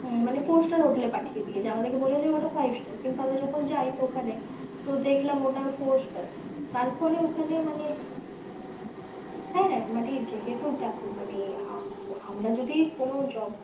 মানে four star hotel এ পাঠিয়েদীছে, আমাদের কে বলেছে ওটা five star কিন্তু আমরা যখন যাই ঐখানে, তো দেখলাম ওটা four star তারপরে ওখানে মানে , হ্যাঁ হ্যাঁ মানে যেহেতু দেখো মানে আমরা যদি কোনো job